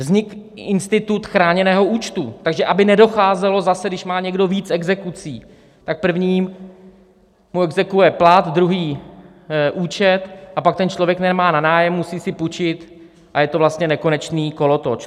Vznikl institut chráněného účtu, takže aby nedocházelo zase, když má někdo víc exekucí, tak první mu exekuuje plat, druhý účet, a pak ten člověk nemá na nájem, musí si půjčit a je to vlastně nekonečný kolotoč.